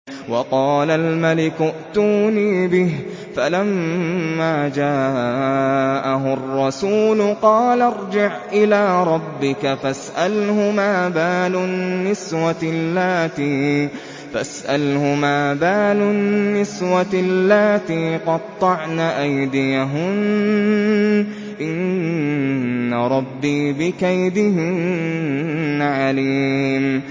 وَقَالَ الْمَلِكُ ائْتُونِي بِهِ ۖ فَلَمَّا جَاءَهُ الرَّسُولُ قَالَ ارْجِعْ إِلَىٰ رَبِّكَ فَاسْأَلْهُ مَا بَالُ النِّسْوَةِ اللَّاتِي قَطَّعْنَ أَيْدِيَهُنَّ ۚ إِنَّ رَبِّي بِكَيْدِهِنَّ عَلِيمٌ